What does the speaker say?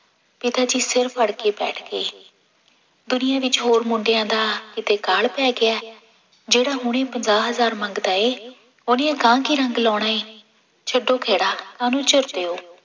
ਪਿਤਾ ਜੀ ਸਿਰ ਫੜਕੇ ਬੈਠ ਗਏ, ਦੁਨੀਆਂ ਵਿੱਚ ਹੋਰ ਮੁੰਡਿਆਂ ਦਾ ਕਿਤੇ ਅਕਾਲ ਪੈ ਗਿਆ, ਜਿਹੜਾ ਹੁਣੇ ਪੰਜਾਹ ਹਜ਼ਾਰ ਮੰਗਦਾ ਹੈ ਉਹਨੇ ਅਗਾਂਹ ਕੀ ਰੰਗ ਲਾਉਣਾ ਹੈ, ਛੱਡੋ ਖਹਿੜਾ ਕਾਹਨੂੰ ਝੁਰਦੇ ਹੋ